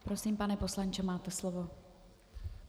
Prosím, pane poslanče, máte slovo.